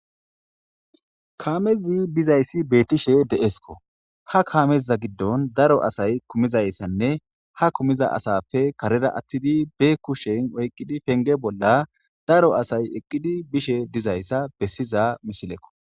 Kaamezi bizayssi beetishe de'esko ha kaameza giddon daro asay kumizayssanne ha kumiza asappe karera attidi be kushen oyqidi penge bolla daro asay eqqidi bishe dizayssa bessiza misilekko.